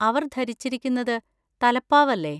അവർ ധരിച്ചിരിക്കുന്നത് തലപ്പാവ് അല്ലേ?